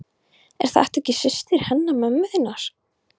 Er þetta ekki systir hennar mömmu þinnar?